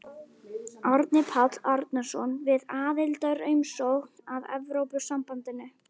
Árni Páll Árnason: Við aðildarumsókn að Evrópusambandinu?